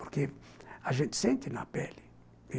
Porque a gente sente na pele.